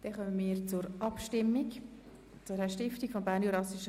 Damit kommen wir zu den Abstimmungen über den Objektkredit.